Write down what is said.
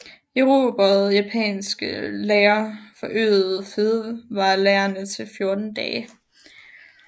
Erobrede japanske lagre forøgede fødevarelagrene til 14 dage